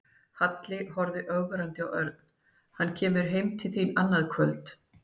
Halli horfði ögrandi á Örn. Hann kemur heim til þín annað kvöld